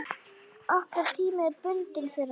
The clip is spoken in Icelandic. Okkar tími er bundinn þeirra.